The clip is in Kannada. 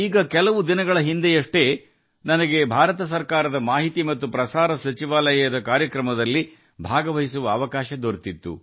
ಕೆಲವೇ ದಿನಗಳ ಹಿಂದೆ ಭಾರತ ಸರ್ಕಾರದ ವಾರ್ತಾ ಮತ್ತು ಪ್ರಸಾರ ಸಚಿವಾಲಯದ ಕಾರ್ಯಕ್ರಮವೊಂದರಲ್ಲಿ ಭಾಗವಹಿಸಲು ನನಗೆ ಅವಕಾಶ ಸಿಕ್ಕಿತು